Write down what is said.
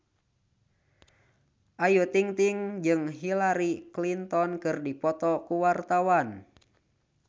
Ayu Ting-ting jeung Hillary Clinton keur dipoto ku wartawan